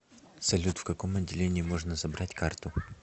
салют в каком отделении можно забрать карту